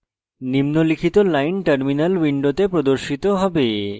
নিম্নলিখিত line terminal window প্রদর্শিত হবে